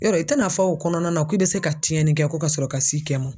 Yɔrɔ i tɛna fɔ o kɔnɔna na ko i bɛ se ka tiɲɛni kɛ ko ka sɔrɔ ka s'i kɛ mɔn